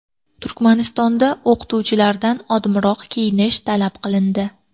Turkmanistonda o‘qituvchilardan odmiroq kiyinish talab qilindi.